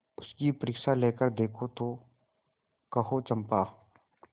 उसकी परीक्षा लेकर देखो तो कहो चंपा